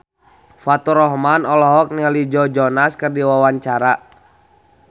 Faturrahman olohok ningali Joe Jonas keur diwawancara